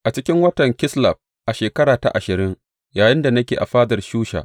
A cikin watan Kisleb a shekara ta ashirin, yayinda nake a fadar Shusha.